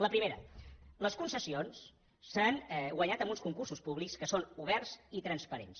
la primera les concessions s’han guanyat amb uns concursos públics que són oberts i transparents